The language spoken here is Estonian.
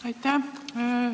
Aitäh!